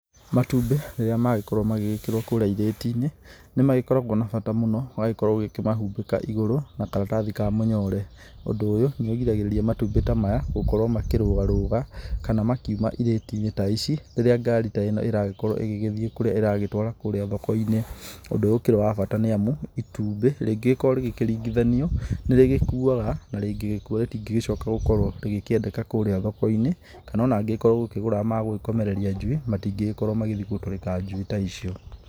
Matumbĩ rĩrĩa magĩkorwo magĩgĩkĩrwo kũrĩa irĩti-inĩ nĩ magĩkoragwo na bata mũno ũgagĩkorwo ũkĩmahumbĩka igũrũ na karatathi ka mũnyore. Ũndũ ũyũ nĩ ũrigagĩrĩria matumbĩ ta maya gũkorwo makĩrũgarũga kana gũkorwo makiuma irĩti-inĩ ta ici rĩrĩa ngari ta ĩno ĩragĩkorwo ĩgĩgĩthiĩ kũrĩa ĩragĩtwara kũrĩa thoko-inĩ. Ũndũ ũyũ ũkĩrĩ wa bata nĩ amu itumbĩ rĩngĩgĩkorwo rĩgĩkĩringithanio nĩ rĩgĩkuaga na rĩngĩgĩkua rĩtingĩcoka gũkorwo rĩgĩkĩendeka kũrĩa thoko-inĩ. Kana ona ũngĩgĩkorwo ũgũkĩgũraga magũkomereria njui, matingĩgĩkorwo magĩthiĩ gũtũrĩka njui ta ici.